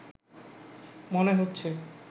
মনে হচ্ছে